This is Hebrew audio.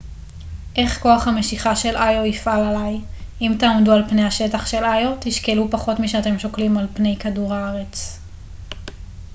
איך כוח המשיכה של איו יפעל עליי אם תעמדו על פני השטח של איו תשקלו פחות משאתם שוקלים על פני כדור הארץ